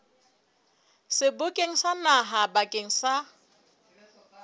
sebokeng sa naha bakeng sa